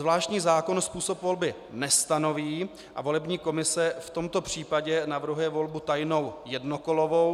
Zvláštní zákon způsob volby nestanoví a volební komise v tomto případě navrhuje volbu tajnou jednokolovou.